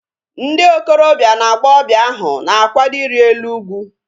Ndị okorobia na agbọghọbịa ahu na-akwado iri elu ugwu